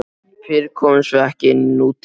Fyrr komumst við ekki inní nútímann.